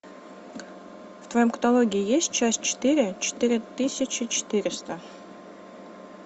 в твоем каталоге есть часть четыре четыре тысячи четыреста